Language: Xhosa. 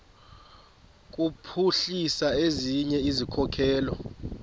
kuphuhlisa ezinye izikhokelo